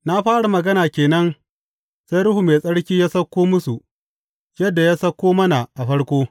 Na fara magana ke nan, sai Ruhu Mai Tsarki ya sauko musu yadda ya sauko mana a farko.